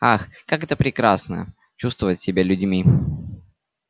ах как это прекрасно чувствовать себя людьми